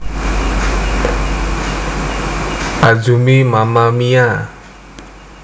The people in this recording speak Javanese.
Azumi Mamma Mia